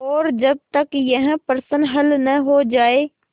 और जब तक यह प्रश्न हल न हो जाय